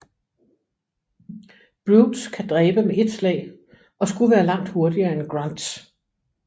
Brutes kan dræbe med ét slag og skulle være langt hurtigere end Grunts